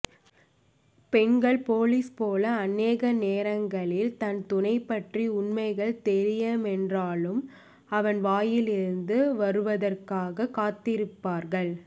பெண்கள் போலீஸ் போல அநேக நேரங்களில் தன் துணை பற்றிய உண்மைகள் தெரியுமென்றாலும் அவன் வாயிலிருந்து வருவதற்காக காத்திருப்பார்கள்